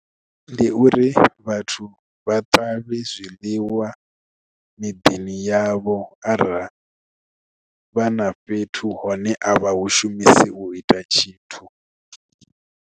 Ndi uri vhathu vha ṱavhe zwiḽiwa miḓini yavho arali vha na fhethu hone avha hu shumisi u ita tshithu.